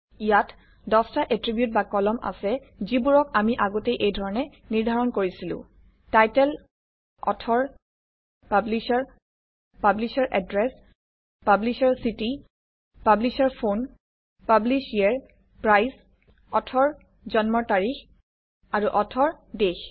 ইয়াত ১০টা এট্ৰিবিউট বা কলম আছে যিবোৰক আমি আগতেই এইধৰণে নিৰ্ধাৰণ কৰিছিলো title author publisher publisher address publisher city publisher phone publisher price author জন্ম তাৰিখ আৰু অথৰ দেশ